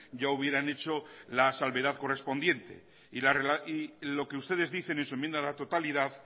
ya hubieran hecho la salvedad correspondiente y lo que ustedes dicen en su enmienda a la totalidad